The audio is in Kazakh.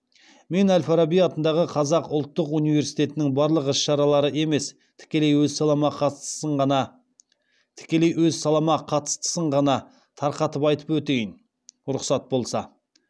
мен әл фараби атындағы қазақ ұлттық университетінің барлық іс шаралары емес тікелей өз салама қатыстысын ғана тарқатып айтып өтейін рұқсат болса